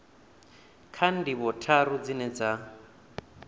kha ndivho tharu dzine dza